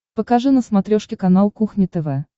покажи на смотрешке канал кухня тв